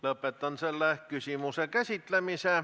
Lõpetan selle küsimuse käsitlemise.